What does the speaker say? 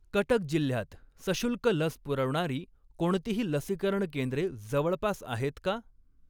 कटक जिल्ह्यात सशुल्क लस पुरवणारी कोणतीही लसीकरण केंद्रे जवळपास आहेत का?